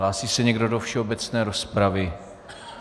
Hlásí se někdo do všeobecné rozpravy?